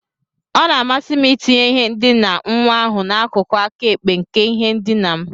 Ọ na-amasị m itinye ihe ndina nwa ahụ n'akụkụ aka ekpe nke ihe ndina m.